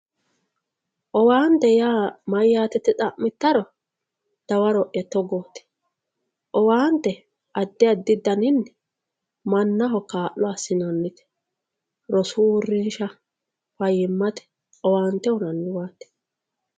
owanitete yaa mayate yite xamitaro dawaroya togotti owante adi adi daninni manaho kalo asinanite roosu urinsha fayimate owante uyinaniiwati